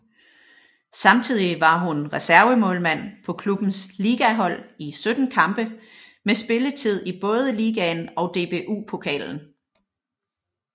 Samtidig var hun reservemålmand på klubbens ligahold i 17 kampe med spilletid i både ligaen og DBU Pokalen